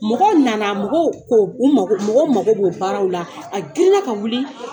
Mɔgɔ nana, mɔgɔw ko , u mako mɔgɔw mako b'o baaraw la, a girinna ka wili